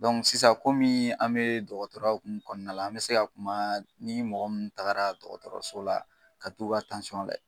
sisan an be dɔgɔtɔrɔya hokumu kɔnɔna la ,an be se ka kuma ni mɔgɔ mun taara dɔgɔtɔrɔso la ka t'u ka lajɛ.